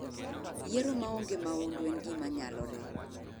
Yiero ma onge mahundu en gima nyalore.